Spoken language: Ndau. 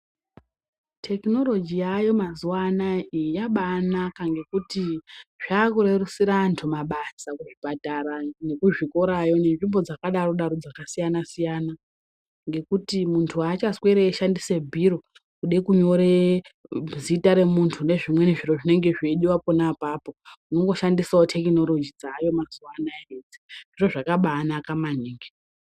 Tekinoroji yayo mazuva anaya iyi yabai naka ngekuti zvakurerusira antu mabasa kuzvipatara ne kuzvikorayo ne nzvimbo dzakadarokwo dzaka siyana siyana ngekuti muntu aacha sweri eyi shandisa bhiro kude kunyore zita re muntu ne zvimweni zviro zvinenge zveidiwa pona apapo unongo shandisawo tekinoroji dzaayo mazuva anaya idzi ndo zvakabai naka maningi.